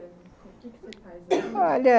O quê que você faz hoje? olha...